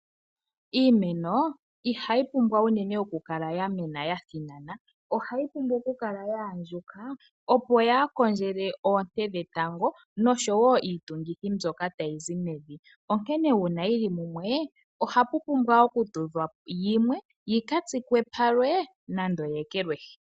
iimeno ihayi pumbwa unene okukala ya mena ya thinana. Ohayi pumbwa okukala ya andjuka, opo yaa kondjele oonte dhetango noshowo iitungithi mbyoka tayi zi mevi, onkene uuna yi li mumwe ohapu pumbwa okutudhwa yimwe yi ka tsikwe palwe nande yi ekelwehi.